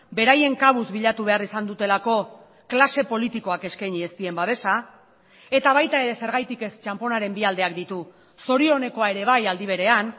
beraien kabuz bilatu behar izan dutelako klase politikoak eskaini ez dien babesa eta baita ere zergatik ez txanponaren bi aldeak ditu zorionekoa ere bai aldi berean